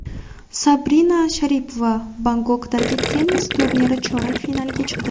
Sabina Sharipova Bangkokdagi tennis turniri chorak finaliga chiqdi.